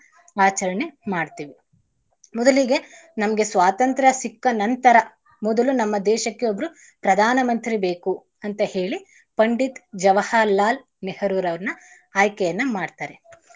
ಆಚರಣೆ ಮಾಡ್ತೀವಿ. ಮೊದಲಿಗೆ ನಮ್ಗೆ ಸ್ವತಂತ್ರ ಸಿಕ್ಕ ನಂತರ ಮೊದಲು ನಮ್ಮ ದೇಶಕ್ಕೆ ಒಬ್ರು ಪ್ರಧಾನ ಮಂತ್ರಿ ಬೇಕು ಅಂತ ಹೇಳಿ ಪಂಡಿತ್ ಜವಹರ್ಲಾಲ್ ನೆಹರೂರವ್ರರ್ನ ಆಯ್ಕೆಯನ್ನಾ ಮಾಡ್ತಾರೆ.